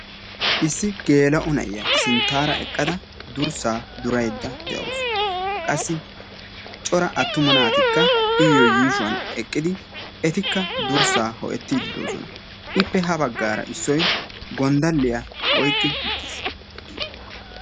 Issi geela'o na'iyaa sinttaara eqqada durssa duraydda de'awus. qassikka cora attuma naatikka iyyo yuushuwan eqqidi etikka durssan ho''ettiiddi de'oosona. ippe ha baggaara issoy gonddalliyaa oyqqi uttiis.